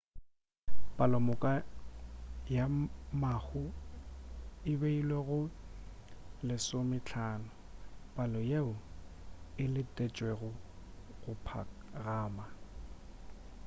palomoka ya mahu e beilwe go 15 palo yeo e letetšwego go phagama